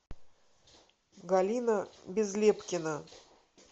галина безлепкина